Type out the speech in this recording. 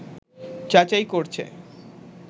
যাচাই করছে